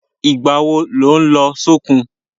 Ìgbà wo lò ń lọ sókun?